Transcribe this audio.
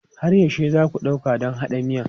Har yaushe za ku ɗauka don haɗa miyan?